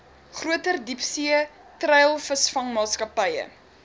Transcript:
groter diepsee treilvisvangmaatskappye